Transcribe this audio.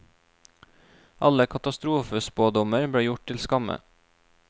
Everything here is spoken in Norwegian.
Alle katastrofespådommer ble gjort til skamme.